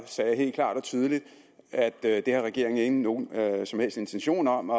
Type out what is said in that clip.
sagde jeg helt klart og tydeligt at det har regeringen ikke nogen som helst intention om